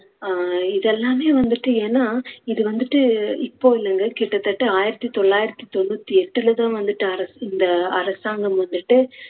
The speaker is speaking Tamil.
அஹ் இதெல்லாமே வந்துட்டு ஏன்னா இது வந்துட்டு இப்போ இல்லங்க கிட்டத்தட்ட ஆயிரத்தி தொள்ளாயிரத்தி தொண்ணூத்தி எட்டுல தான் வந்துட்டு அரசு இந்த அரசாங்கம் வந்துட்டு